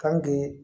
Kan k'i